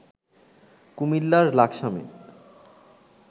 কুমিল্লার লাকসামে